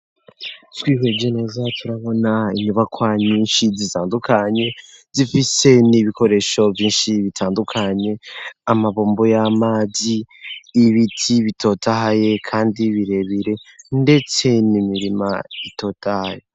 Twiheje neza turabona inyubakwanyinshi zitandukanye zifise n'ibikoresho vyinshi bitandukanye amabumbu y'amazi ibiti bitotahaye, kandi birebire, ndetse nimirima itotahye.